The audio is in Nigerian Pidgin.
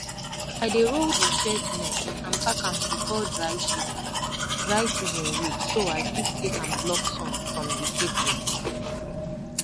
i dey roll di shade net and pack am before dry season dry season reach so i fit take am block sun from di seedlings